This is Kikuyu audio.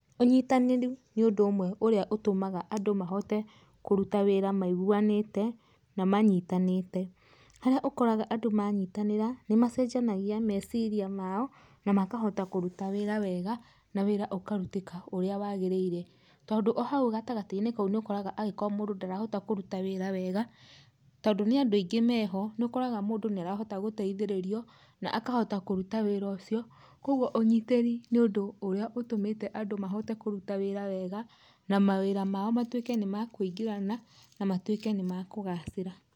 Ũnyitanĩri nĩũndũ ũmwe ũmwe ũrĩa ũtũmaga andũ mahote kũruta wĩra maiguanĩte na manyitanĩte, harĩa ũkoraga andũ manyitanĩra, macenjanagia meciria mao na makahota kũruta wĩra wega na wĩra ũkarũtĩka ũrĩa wagĩrĩire, tondũ ũhaũ gatagatĩinĩ nĩũgũkora agĩkorwo mũndũ ndarahota kũruta wĩra wega tondũ nĩandũ aingĩ meho nĩũkoraga mũndũ nĩaroha gũteithĩrĩrio na akahota kũruta wĩra ũcio, kwoguo ũnyitĩri nĩũndũ ũrĩa ũtũmĩte andũ mahote kũruta wĩra wega na mawĩra mao matũĩke nĩmakũigĩnĩrana na matũĩkĩ nĩmakũgacĩra.